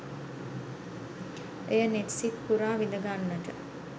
එය නෙත් සිත් පුරා විඳගන්නට